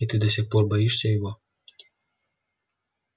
и ты до сих пор боишься его